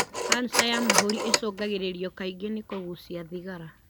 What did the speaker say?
Kanja ya mahũri ĩcũngagĩrĩrio kaingĩ nĩkũgucia thigara.